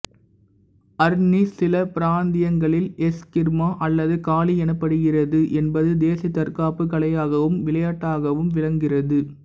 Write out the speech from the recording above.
அர்னிஸ் சில பிராந்தியங்களில் எஸ்கிர்மா அல்லது காளி எனப்படுகின்றது என்பது தேசிய தற்காப்புக் கலையாகவும் விளையாட்டாகவும் விளங்குகின்றது